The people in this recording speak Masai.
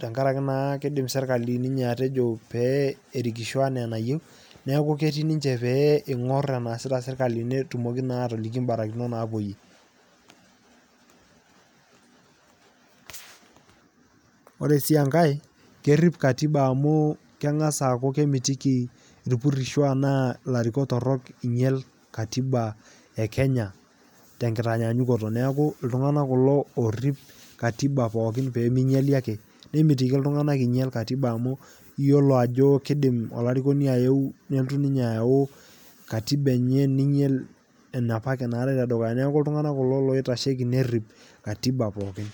tengaraki naa keidim sirikali atejo ninye pee erikisho enaa enayeu naaklu ketii ninche pee eing'orr eneasita serikali peetumoki naa aatoloki imbarakinot naapoiye. ore sii enkae kerip[cs[ katiba amuu kengas aaku kemitiki irpursho enaa ilarukok torok einyal katiba ekenya tengitanyanyakuto neaku ltungana kulo oorip katiba pookin peemeinyali ake nemitiki iltunganak einyal katiba amu iyolo ajoo keidim olarikoni aeeu nelotu ninye ayau katiba enye neinyal enapake naate te dukuya naaku ltunganak kulo loitasheki neriip katiba pookin.